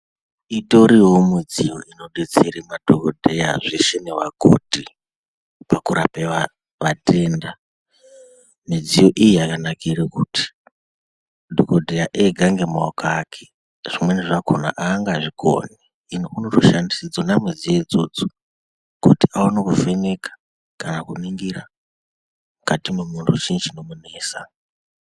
Itoriyowo midziyo inodetsere madhokodheya zveshe nevakoti, pakurape vatatenda. Midziyo iyi yakanakire kuti, madhokodheya ega ngemaoko ake zvimweni zvachona angazvikoni. Unotoshandisa dzona midziyo idzodzo kuti aone kuvheneka kana kuningirwa mukati mwemuntu kuti chii chinomunesa.